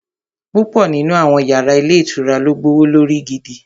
Púpọ̀ nínú àwọn yàrá ilé ìtura ló gbówó lórí gidi